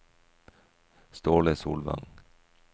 Ståle Solvang